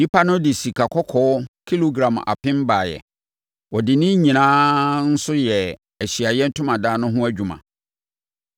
Nnipa no de sikakɔkɔɔ kilogram apem baeɛ. Wɔde ne nyinaa nso yɛɛ Ahyiaeɛ Ntomadan no ho adwuma.